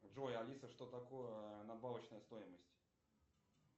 джой алиса что такое надбавочная стоимость